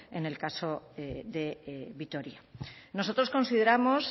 en el caso de vitoria nosotros consideramos